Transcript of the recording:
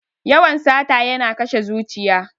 Yawan sata yana kashe zuciya.